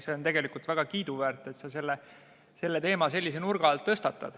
See on tegelikult väga kiiduväärt, et sa selle teema sellise nurga alt tõstatad.